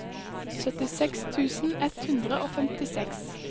syttiseks tusen ett hundre og femtiseks